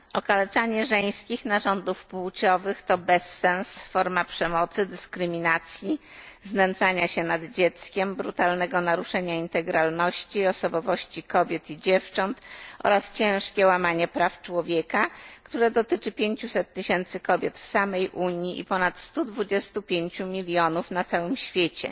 Okaleczanie żeńskich narządów płciowych to bezsens, forma przemocy, dyskryminacji, znęcania się nad dzieckiem, brutalnego naruszenia integralności i osobowości kobiet i dziewcząt oraz ciężkie łamanie praw człowieka, które dotyczy 500 tysięcy kobiet w samej Unii i ponad 125 milionów na całym świecie.